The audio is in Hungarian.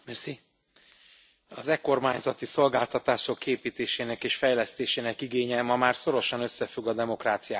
Az e kormányzati szolgáltatások kiépítésének és fejlesztésének igénye ma már szorosan összefügg a demokráciák működésével is.